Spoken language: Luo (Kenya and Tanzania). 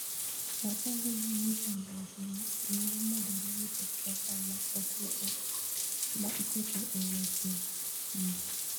'Wachando ji ni chandruokni nyalo medore nikech pesa ma iketo e weche thieth.